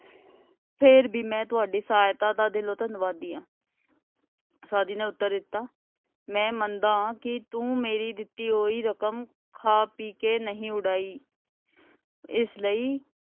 ਫੇਰ ਵੀ ਮੈਂ ਤੁਹਾਡੀ ਸਹਾਇਤਾ ਦਾ ਦਿਲੋਂ ਧੰਨਵਾਦੀ ਆਂ ਸਾਧੀ ਨੇ ਉੱਤਰ ਦਿੱਤਾ ਮੈਂ ਮੰਨਦਾ ਕਿ ਤੂੰ ਮੇਰੀ ਦਿੱਤੀ ਹੋਈ ਰਕਮ ਖਾ ਪੀ ਕੇ ਨਹੀਂ ਉਡਾਈ . ਇਸ ਲਈ,